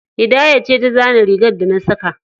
Hidaya ce ta zana rigar da na saka.